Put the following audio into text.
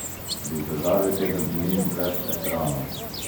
Bi zdržali teden dni brez ekranov?